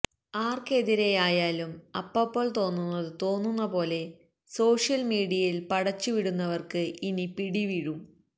ആർക്കെതിരെയായായും അപ്പപ്പോൾ തോന്നുന്നത് തോന്നുന്ന പോലെ സോഷ്യൽ മീഡിയയിൽ പടച്ചു വിടുന്നവർക്ക് ഇനി പിടിവീഴും